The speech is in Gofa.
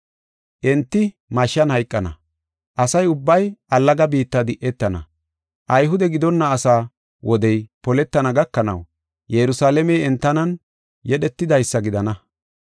Enti mashshan hayqana, asa ubbay allaga biitta di7etana. Ayhude gidonna asaa wodey poletana gakanaw Yerusalaamey entanan yedhetidaysa gidana.